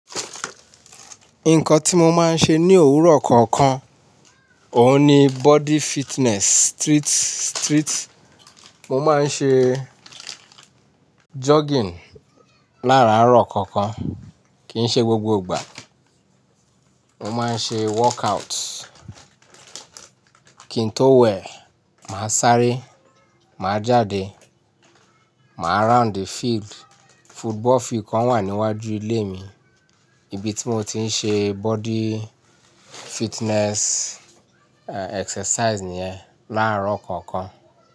Nǹkan tí mo máa ń ṣe ní òwúrọ̀ kọ̀ọ̀kan, òun ni body fitness street, street. Mo máa ń ṣe jogging láàrọ̀ kọ̀ọ̀kan, kì í ṣe gbogbo ìgbà. Mo máa ń ṣe workout. Kí n tó wẹ̀, màá sáré, màá jáde, màá round field. Football field kan wà níwájú ilé mi, ibi tí mo ti ń ṣe body fitness, e, exercise ní è, láàrọ̀ kọ̀ọ̀kan.